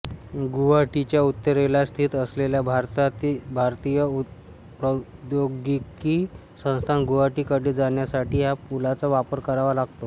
गुवाहाटीच्या उत्तरेला स्थित असलेल्या भारतीय प्रौद्योगिकी संस्थान गुवाहाटी कडे जाण्यासाठी ह्या पुलाचा वापर करावा लागतो